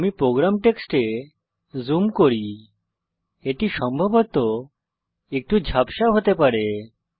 আমি প্রোগ্রাম টেক্সটে জুম করি এটি সম্ভবত একটু ঝাপসা হতে পারে